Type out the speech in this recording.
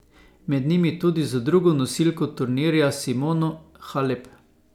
Med njimi tudi z drugo nosilko turnirja Simono Halep.